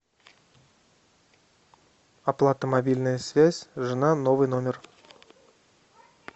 оплата мобильная связь жена новый номер